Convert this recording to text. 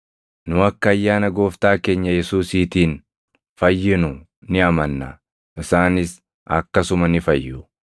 Nu akka ayyaana Gooftaa keenya Yesuusiitiin fayyinu ni amanna; isaanis akkasuma ni fayyu.”